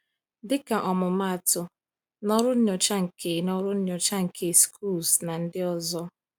Dịka ọmụmaatụ, n’ọrụ nyocha nke n’ọrụ nyocha nke Schultz na ndị ọzọ.